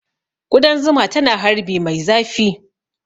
Ƙudan zuma tana harbi mai zafi